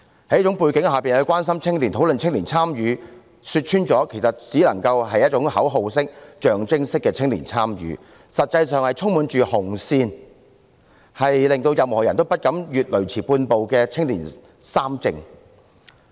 在這種背景下說關心青年、討論青年參與，說穿了，其實只能夠是一種口號式、象徵式的青年參與，實際上卻是充滿"紅線"，令任何人也不敢越雷池半步的"青年三政"。